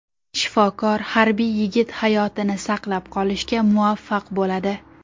Shifokor harbiy yigit hayotini saqlab qolishga muvaffaq bo‘ladi.